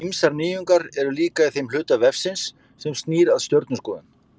Ýmsar nýjungar eru líka í þeim hluta vefsins sem snýr að stjörnuskoðun.